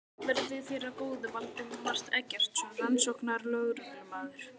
Verði þér að góðu, Valdimar Eggertsson rannsóknarlögreglumaður.